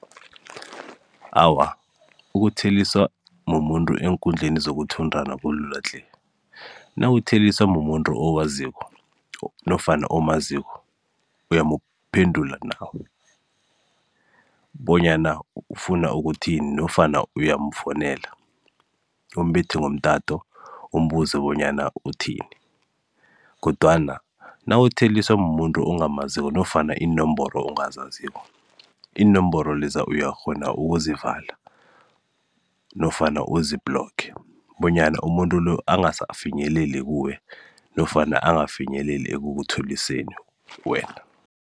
Awa ukuthelisa mumuntu eenkundleni zokuthintana kulula tle. Nawutheliswa mumuntu omaziko nofana okwaziko bonyana ufuna ukuthini, nofana uyamfonela, umbethe ngomtato umbuze bonyana uthini. Kodwana nawutheliswa mumuntu ongamaziko nofana iinomboro ongazaziko. Iinomboro leza uyakghona ukuzivala nofana uzibhuloge bonyana umuntu lo, angasafinyeleli kuwe, nofana angafinyeleli ekukutlhoriseni wena.